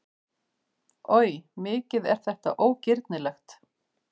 Oj, mikið er þetta ógirnilegt!